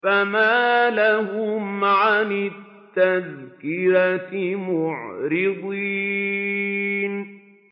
فَمَا لَهُمْ عَنِ التَّذْكِرَةِ مُعْرِضِينَ